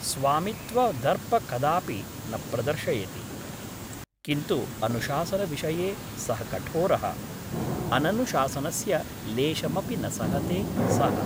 स्वामित्वदर्प कदापि न प्रदर्शयति । किन्तु अनुशासनविषये सः कठोरः । अननुशासनस्य लेशमपि न सहते सः ।